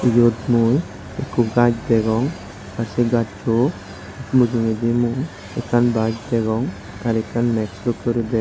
eyot mui ikko gaj degong ar sey gasso mujugedi mui ekkan baj degong r ekkan max dokkey guri degong.